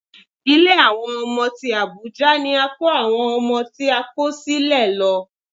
Ilé àwọn ọmọ tí Àbújá ni a kó àwọn ọmọ tí a kò sílẹ̀ lọ